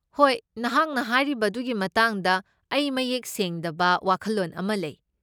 ꯍꯣꯏ, ꯅꯍꯥꯛꯅ ꯍꯥꯏꯔꯤꯕ ꯑꯗꯨꯒꯤ ꯃꯇꯥꯡꯗ ꯑꯩ ꯃꯌꯦꯛ ꯁꯦꯡꯗꯕ ꯋꯥꯈꯜꯂꯣꯟ ꯑꯃ ꯂꯩ ꯫